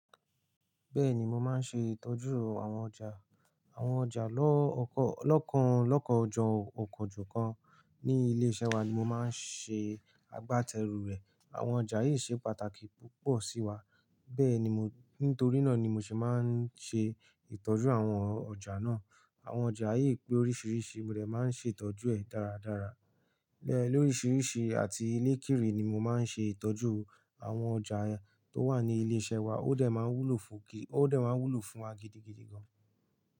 Bẹ́ẹ̀ni, mo máa ń ṣe ìtọ́jú àwọn ọjà. Àwọn ọjà lọ́kàn ojú kan ní ilé iṣẹ́ wa ni mo máa ń ṣe agbátẹrù rẹ̀. Àwọn ọjà yìí ṣe pàtàkì púpọ̀ sí wa. Bẹ́ẹ̀ ni, nítorí náà ni mo sì máa ń ṣe ìtọ́jú àwọn ọjà náà. Àwọn ọjà yí pé oríṣiríṣi, mo dẹ̀ máa ń ṣe ìtọ́jú ẹ̀ dáradára. Bẹ́ẹ̀ lóríṣiríṣi àti ni kiri ni mo máa ń ṣe ìtọ́jú àwọn ọjà tó wà ní ilé iṣẹ́ wa. Ó dẹ̀ máa ń wúlò fún wa gidigidi gan.